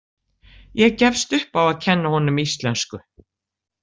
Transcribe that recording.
Ég gefst upp á að kenna honum íslensku.